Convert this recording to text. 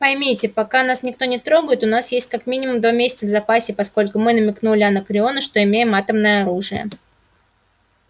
поймите пока нас никто не трогает у нас есть как минимум два месяца в запасе поскольку мы намекнули анакреону что имеем атомное оружие